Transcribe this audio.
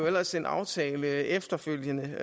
ellers en aftale efterfølgende